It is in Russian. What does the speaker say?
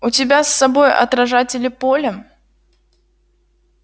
у тебя с собой отражатели поля